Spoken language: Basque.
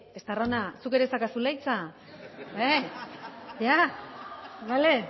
eh estarrona zuk ere daukazula hitza eh ya vale